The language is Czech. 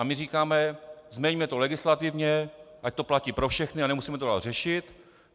A my říkáme: změňme to legislativně, ať to platí pro všechny, a nemusíme to dál řešit.